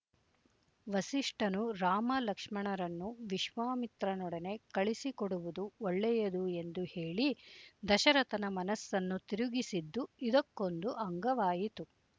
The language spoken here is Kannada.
ವಸಿಷ್ಠನು ರಾಮಲಕ್ಷ್ಮಣರನ್ನು ವಿಶ್ವಾಮಿತ್ರನೊಡನೆ ಕಳಿಸಿಕೊಡುವುದು ಒಳ್ಳೆಯದು ಎಂದು ಹೇಳಿ ದಶರಥನ ಮನಸ್ಸನ್ನು ತಿರುಗಿಸಿದ್ದು ಇದಕ್ಕೊಂದು ಅಂಗವಾಯಿತು